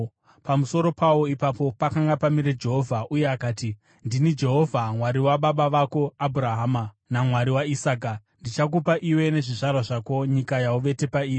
Pamusoro pawo ipapo pakanga pamire Jehovha, uye akati, “Ndini Jehovha, Mwari wababa vako Abhurahama naMwari waIsaka. Ndichakupa iwe nezvizvarwa zvako nyika yauvete pairi.